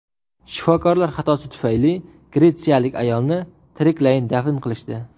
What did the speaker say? Shifokorlar xatosi tufayli gretsiyalik ayolni tiriklayin dafn qilishdi.